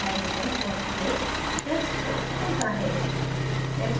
add hydrogens for ph text box खुलता है